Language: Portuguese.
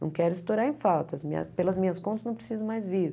Não quero estourar em falta, minha pelas minhas contas não preciso mais vir.